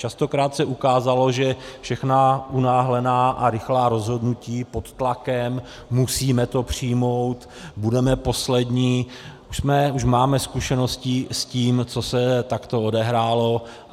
Častokrát se ukázalo, že všechna unáhlená a rychlá rozhodnutí pod tlakem, musíme to přijmout, budeme poslední, už máme zkušenosti s tím, co se takto odehrálo.